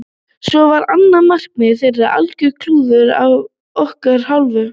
Svo var annað markið þeirra algjört klúður af okkar hálfu.